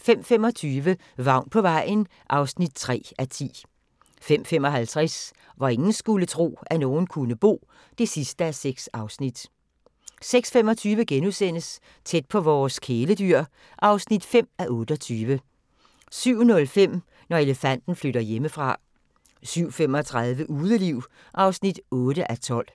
05:25: Vagn på vejen (3:10) 05:55: Hvor ingen skulle tro, at nogen kunne bo (6:6) 06:25: Tæt på vores kæledyr (5:28)* 07:05: Når elefanten flytter hjemmefra 07:35: Udeliv (8:12)